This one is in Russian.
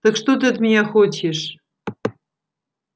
так что ты от меня хочешь